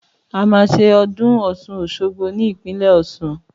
Àmà sẹ ọ̀dún ọsún ọṣọgbo ni ìpínlẹ ọsún